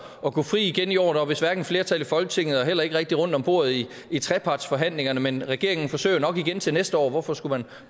at gå fri igen i år der var vist hverken flertal i folketinget og heller ikke rigtig rundt om bordet i i trepartsforhandlingerne men regeringen forsøger jo nok igen til næste år hvorfor skulle man